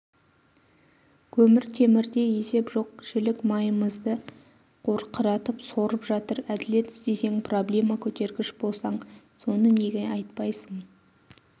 көмір-темірде есеп жоқ жілік майымызды қорқыратып сорып жатыр әділет іздесең проблема көтергіш болсаң соны неге айтпайсың